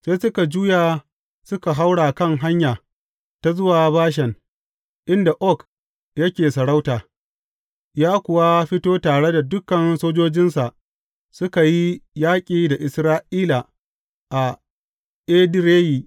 Sai suka juya suka haura kan hanya ta zuwa Bashan, inda Og yake sarauta, ya kuwa fito tare da dukan sojojinsa suka yi yaƙi da Isra’ila a Edireyi.